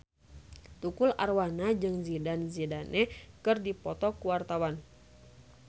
Tukul Arwana jeung Zidane Zidane keur dipoto ku wartawan